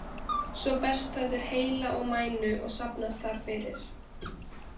Svo berst það til heila og mænu og safnast þar fyrir.